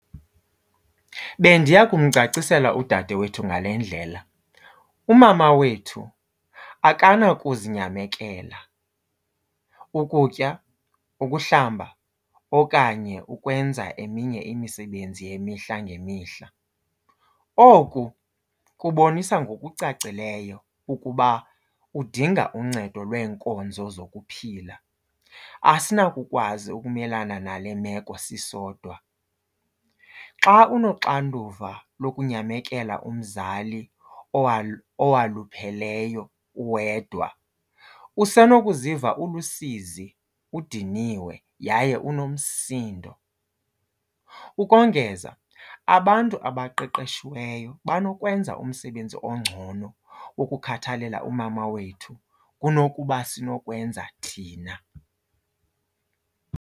Bendiya kumcacisela udade wethu ngale ndlela, umama wethu akanakuzinyamekela, ukutya, ukuhlamba okanye ukwenza eminye imisebenzi yemihla ngemihla. Oku kubonisa ngokucacileyo ukuba udinga uncedo lweenkonzo zokuphila, asinakukwazi ukumelana nale meko sisodwa. Xa unoxanduva lokunyamekela umzali owalupheleyo uwedwa usenokuziva ulusizi, udiniwe yaye unomsindo. Ukongeza abantu abaqeqeshiweyo banokwenza umsebenzi ongcono ukukhathalela umama wethu kunokuba sinokwenza thina.